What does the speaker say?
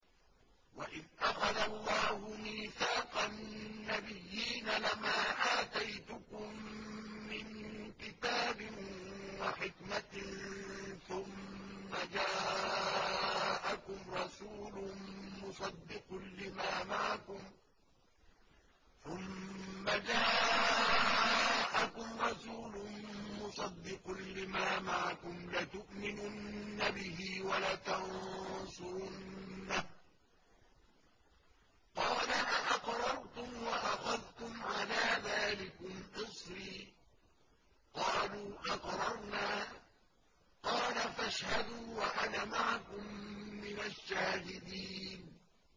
وَإِذْ أَخَذَ اللَّهُ مِيثَاقَ النَّبِيِّينَ لَمَا آتَيْتُكُم مِّن كِتَابٍ وَحِكْمَةٍ ثُمَّ جَاءَكُمْ رَسُولٌ مُّصَدِّقٌ لِّمَا مَعَكُمْ لَتُؤْمِنُنَّ بِهِ وَلَتَنصُرُنَّهُ ۚ قَالَ أَأَقْرَرْتُمْ وَأَخَذْتُمْ عَلَىٰ ذَٰلِكُمْ إِصْرِي ۖ قَالُوا أَقْرَرْنَا ۚ قَالَ فَاشْهَدُوا وَأَنَا مَعَكُم مِّنَ الشَّاهِدِينَ